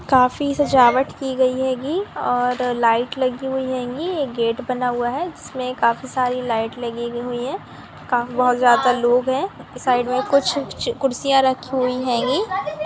काफी से जावत की गयी हे गी और लाइट लगी हुई गी ये गेट बना हुआ हे इसमें काफी सरे लाइट लगी हुए हे | बहुत ज्यादा लोग हे इस साइड में कुर कुर्सियां लगे हुए गी |